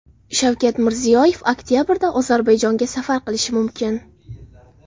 Shavkat Mirziyoyev oktabrda Ozarbayjonga safar qilishi mumkin.